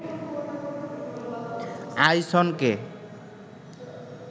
আইসনকে